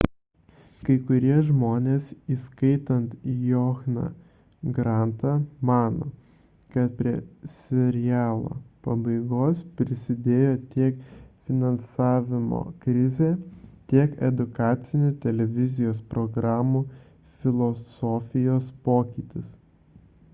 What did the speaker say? kai kurie žmonės įskaitant johną grantą mano kad prie serialo pabaigos prisidėjo tiek finansavimo krizė tiek edukacinių televizijos programų filosofijos pokytis